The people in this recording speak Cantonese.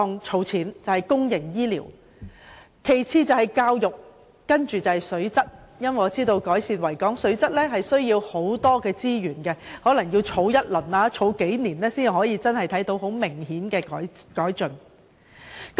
其次是教育，最後是水質，因為我知道改善維港水質需要龐大資源，可能需要長時間投入資源才得見明顯的改進。